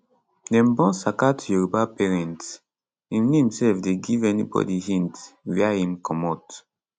dem born saka to yoruba parents im name sef dey give anybody hint wia im comot